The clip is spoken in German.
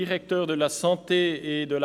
Sprecher der Députation.